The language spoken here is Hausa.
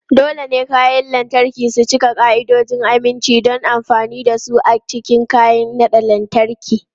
Dole ne kayan lantarki su cika ka'idojin aminci don amfani da su a cikin kayan naɗa lantarki.